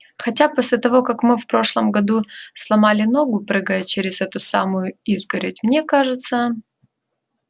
хотя после того как мы в прошлом году сломали ногу прыгая через эту самую изгородь мне кажется